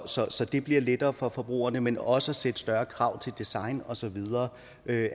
så så det bliver lettere for forbrugerne men også ved at stille større krav til design og så videre